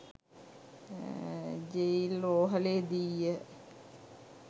Jail රෝහලේ දීය.